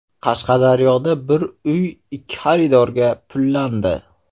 Qashqadaryoda bir uy ikki xaridorga pullandi.